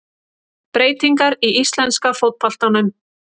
Breytingar í íslenska fótboltanum